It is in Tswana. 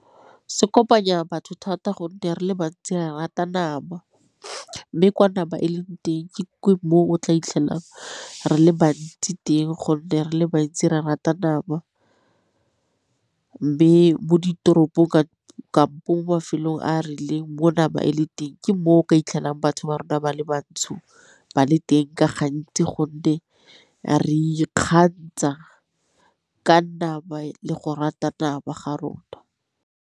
Se kopanya batho thata gonne re le bantsi ba rata nama, mme kwa nama e leng teng ke mo o tla 'itlhelang re le bantsi teng gonne re le bantsi re rata nama. Mme mo ditoropong kampo mo mafelong a a rileng mona ba e le teng ke mo o ka 'itlhelang batho ba rona ba le bantsho ba le teng ka gontsi gonne re ikgantsha ka nama le go rata nama ga rona.